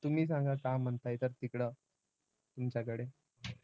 तुम्ही सांगा काय म्हणताय तर तिकडं तुमच्याकडे.